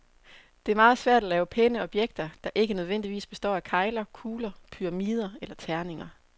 Det er meget svært at lave pæne objekter, der ikke nødvendigvis består af kegler, kugler, pyramider eller terninger.